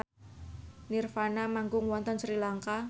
nirvana manggung wonten Sri Lanka